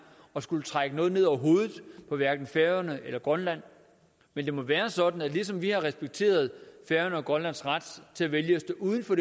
at skulle trække noget ned over hovedet på hverken færøerne eller grønland men det må være sådan at ligesom vi har respekteret færøernes og grønlands ret til at vælge at stå uden for